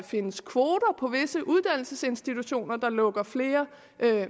findes kvoter på visse uddannelsesinstitutioner der lukker flere